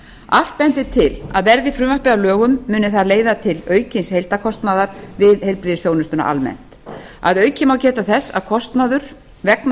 allt bendir til að verði frumvarpið að lögum muni það leiða til aukins heildarkostnaðar við heilbrigðisþjónustuna almennt að auki má geta þess að kostnaður vegna